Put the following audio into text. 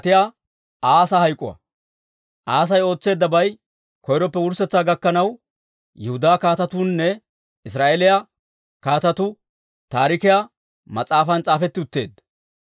Asay ootseeddabay koyroppe wurssetsaa gakkanaw Yihudaa Kaatetuunne Israa'eeliyaa Kaatetuu Taarikiyaa mas'aafan s'aafetti utteedda.